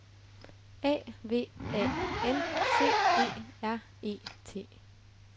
A V A N C E R E T